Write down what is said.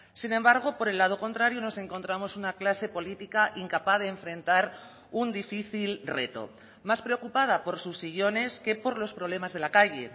sin embargo por el lado contrario nos encontramos una clase política incapaz de enfrentar un difícil reto más preocupada por sus sillones que por los problemas de la calle